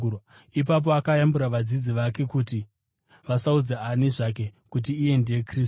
Ipapo akayambira vadzidzi vake kuti vasaudze ani zvake kuti iye ndiye Kristu.